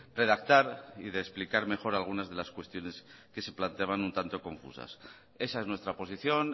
redactar y de explicar mejor algunas de las cuestiones que se planteaban un tanto confusas esa es nuestra posición